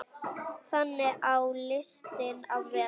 Þannig á listin að vera.